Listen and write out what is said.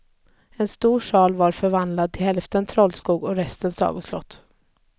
En stor sal var förvandlad till hälften trollskog och resten sagoslott.